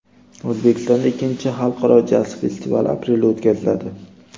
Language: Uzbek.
O‘zbekistonda ikkinchi Xalqaro jaz festivali aprelda o‘tkaziladi.